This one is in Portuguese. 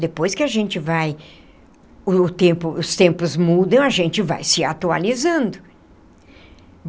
Depois que a gente vai o tempo os tempos mudam, a gente vai se atualizando.